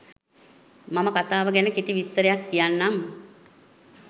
මම කතාව ගැන කෙටි විස්තරයක් කියන්නම්